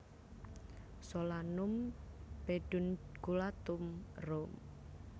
Solanum pedunculatum Roem